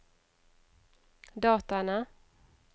dataene